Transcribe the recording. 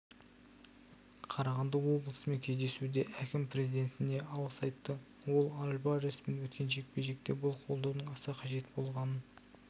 қарағанды облысымен кездесуде әкім президентіне алғыс айтты ол альвареспен өткен жекпе-жекте бұл қолдаудың аса қажет болғанын